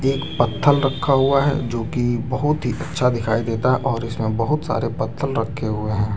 ये एक पथल रखा हुआ है जो की बहुत ही अच्छा दिखाई देता और इसमें बहुत सारे पथल रखे हुए है।